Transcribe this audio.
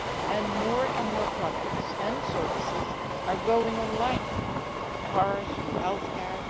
And more and more products and services are going online, from cars to healthcare.